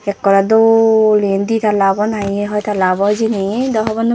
ekore dol eyen di tala obo nahi hoi tala obo hejeni do honopang.